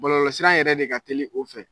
Bɔlɔlɔ sira yɛrɛ de ka teli o fɛ.